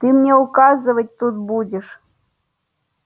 ты мне указывать тут будешь